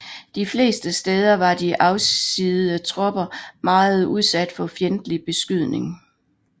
De fleste steder var de afsiddede tropper meget udsat for fjendtlig beskydning